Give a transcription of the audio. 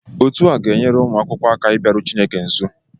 Otu a ga-enyere ụmụ akwụkwọ aka ịbịaru Chineke nso